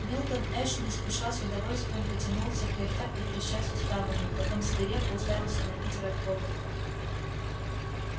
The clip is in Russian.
милтон эш не спеша с удовольствием потянулся кряхтя и треща суставами потом свирепо уставился на питера богерта